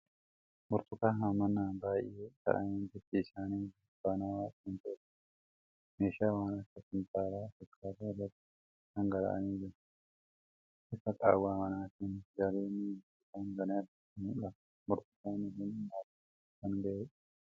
Burtukaana hammaan baay'ee ta'an bifti isaanii burtukaanawaa kan ta'etu jira. Meeshaa waan akka kumtaala fakkaatu irratti dhangala'anii jiru. Ifi qaawwa manaatin galemmoo burtukaana kana irratti mul'ata. Burtukaanni kun nyaatamuuf kan gahedha.